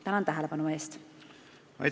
Tänan tähelepanu eest!